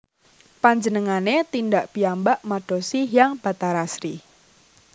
Panjenengane tindak piyambak madosi Hyang Bathari Sri